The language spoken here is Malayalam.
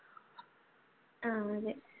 ആഹ് അതെ